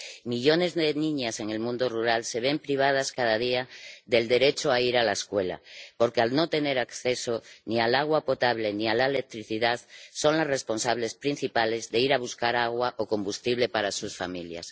Millones de niñas en el mundo rural se ven privadas cada día del derecho a ir a la escuela porque, al no tener acceso ni al agua potable ni a la electricidad, son las responsables principales de ir a buscar agua o combustible para sus familias.